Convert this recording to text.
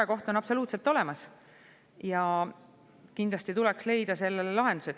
See murekoht on absoluutselt olemas ja kindlasti tuleks leida sellele lahendus.